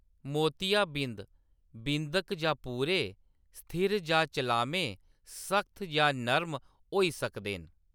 मोतियाबिंद, बिंद-क जां पूरे, स्थिर जां चलामे, सख्त जां नरम होई सकदे न।